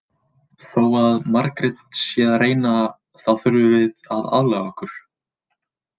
Þó að Margrét sé að reyna þá þurfum við aðlaga okkur.